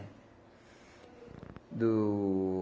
Do...